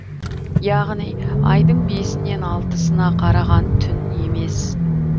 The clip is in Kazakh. яғни айдың бесінен алтысына қараған түн емес